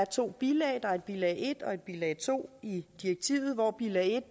to bilag bilag en og bilag to i direktivet hvor bilag en